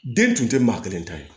Den tun tɛ maa kelen ta ye